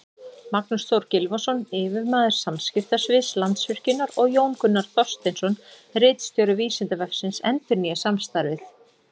Magnús Þór Gylfason, yfirmaður samskiptasviðs Landsvirkjunar, og Jón Gunnar Þorsteinsson, ritstjóri Vísindavefsins, endurnýja samstarfið.